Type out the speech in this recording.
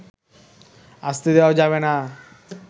আসতে দেয়া যাবে না